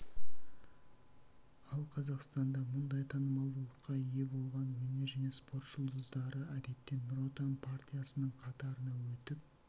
ал қазақстанда мұндай танымалдылыққа ие болған өнер және спорт жұлдыздары әдетте нұр отан партиясының қатарына өтіп